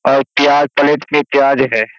और चार प्लेट में प्याज है।